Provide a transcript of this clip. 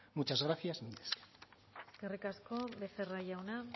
muchas gracias mila esker eskerrik asko becerra jauna